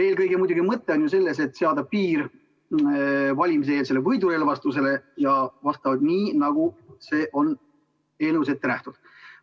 Eelkõige on muidugi mõte selles, et seada piir valimiseelsele võidurelvastusele vastavalt sellele, nagu on eelnõus ette nähtud.